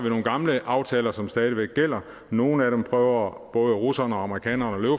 nogle gamle aftaler som stadig væk gælder nogle af dem prøver både russerne og amerikanerne at